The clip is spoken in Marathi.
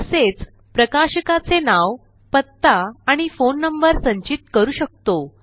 तसेच प्रकाशकाचे नाव पत्ता आणि फोन नंबर संचित करू शकतो